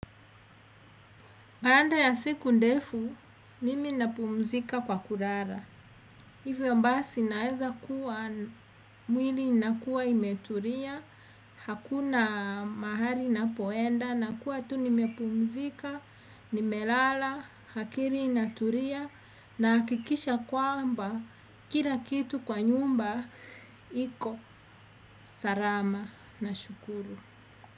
Baada ya siku ndefu, mimi napumzika kwa kulala. Hivyo basi naeza kuwa mwili inakua imetulia, hakuna mahali ninapoenda, nakua tu nimepumzika, nimelala, akili inatulia, nahakikisha kwamba kila kitu kwa nyumba, iko. Salama. Nashukuru.